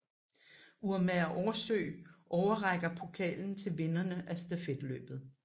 Urmager Aarsøe overrækker pokalen til vinderne af stafetløbet